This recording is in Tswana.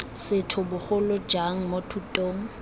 setho bogolo jang mo thutong